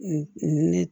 ni